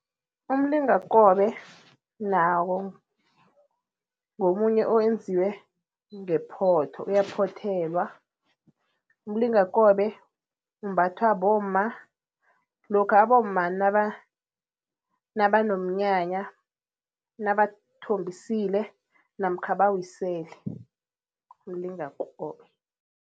Umlingakobe nawo ngomunye owenziwe ngephotho, uyaphothelwa. Umlingakobe umbathwa bomma lokha abomma nabanomnyanya, nabathombisile namkha bawisele, umlingakobe.